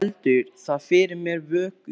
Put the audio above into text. Annars heldur það fyrir mér vöku.